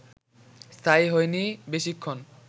স্থায়ী হয়নি বেশিক্ষণ